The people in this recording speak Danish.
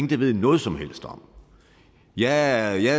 der ved noget som helst om jeg